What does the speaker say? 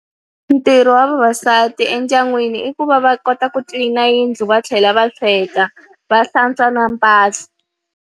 Ntirho wa vavasati endyangwini i ku va va kota ku clean-a yindlu va tlhela va sweka, va hlantswa na mpahla.